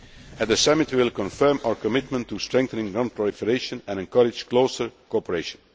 At the Summit we will confirm our commitment to strengthening non proliferation and encourage closer cooperation.